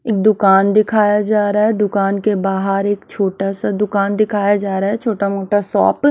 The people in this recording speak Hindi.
एक दुकान दिखाया जा रहा है दुकान के बाहर एक छोटा सा दुकान दिखाया जा रहा है छोटा-मोटा शॉप --